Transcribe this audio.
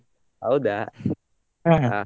ಹೌದಾ? ಹಾ